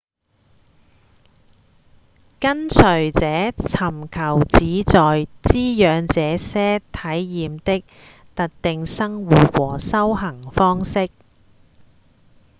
跟隨者尋求旨在滋養這些體驗的特定生活或修行方式